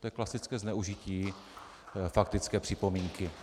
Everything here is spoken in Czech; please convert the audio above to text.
To je klasické zneužití faktické připomínky.